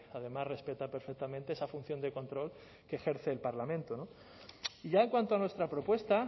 además respeta perfectamente esa función de control que ejerce el parlamento y ya en cuanto a nuestra propuesta